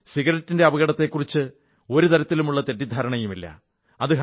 സിഗരറ്റിന്റെ അപകടത്തെക്കുറിച്ച് ഒരു തരത്തിലുമുള്ള തെറ്റിദ്ധാരണയുമില്ല